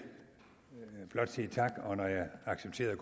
blot sige tak og når jeg accepterede